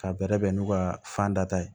Ka bɛrɛ bɛn n'u ka fanda ye